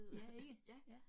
Ja ikke?